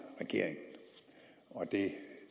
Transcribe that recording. regeringen og det